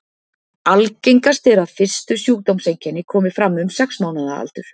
Algengast er að fyrstu sjúkdómseinkenni komi fram um sex mánaða aldur.